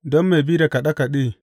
Don mai bi da kaɗe kaɗe.